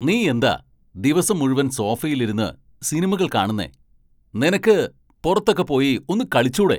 നീ എന്താ ദിവസം മുഴുവൻ സോഫയിൽ ഇരുന്ന് സിനിമകൾ കാണുന്നെ ? നിനക്ക് പുറത്തൊക്കെ പോയി ഒന്ന് കളിച്ചൂടെ?